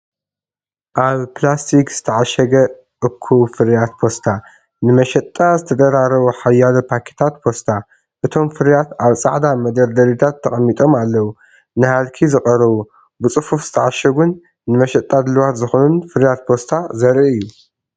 ኣብ ፕላስቲክ ዝተዓሸገ እኩብ ፍርያት ፓስታ፡ ንመሸጣ ዝተደራረቡ ሓያሎ ፓኬታት ፓስታ። እቶም ፍርያት ኣብ ጻዕዳ መደርደሪታት ተቐሚጦም ኣለዉ። ንሃልኪ ዝቐረቡ፡ ብጽፉፍ ዝተዓሸጉን ንመሸጣ ድሉዋት ዝኾኑን ፍርያት ፓስታ ዘርኢ እዩ።